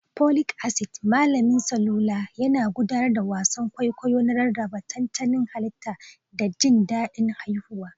Folic acid, malamin salula, yana gudanar da wasan kwaikwayo na rarraba tantanin halitta da jin daɗin haihuwa.